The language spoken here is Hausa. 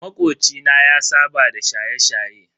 Makoci na ya saba da shaye-shaye.